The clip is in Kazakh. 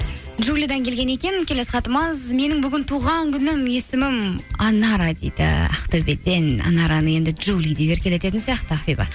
джулиядан келген екен келесі хатымыз менің бүгін туған күнім есімім анара дейді ақтөбеден анараны енді джули деп еркелететін сияқты ақбибі